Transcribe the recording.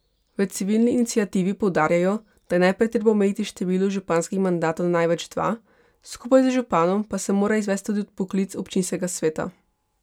V civilni iniciativi poudarjajo, da je najprej treba omejiti število županskih mandatov na največ dva, skupaj z županom pa se mora izvesti tudi odpoklic občinskega sveta.